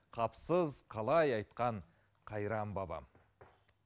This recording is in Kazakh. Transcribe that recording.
қапысыз қалай айтқан қайран бабам